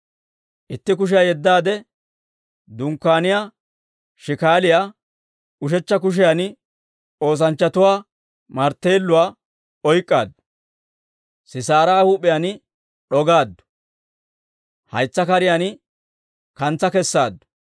Itti kushiyaa yeddaade dunkkaaniyaa shikaaliyaa, ushechcha kushiyan oosanchchatuwaa martteeluwaa oyk'k'aaddu. Sisaara huup'iyaan d'ogaaddu; haytsa kariyaana kantsa kessaaddu.